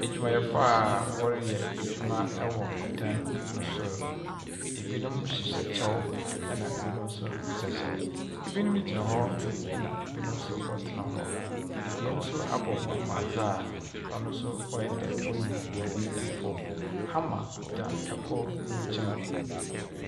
Edwumayɛfo a wɔreyɛ edwuma wɔ dan no sor. Binom hyehyɛ kyɛw, ɛna binom nso nhyɛ kyɛw. Binom gyina hɔ, na binom nso wɔtena hɔ. Ebien nso abɔ hɔn mu adze a hɔn nso wayɛ dɛ wɔreyi biribi wɔ famu. Hammar da kor ne nkyɛn.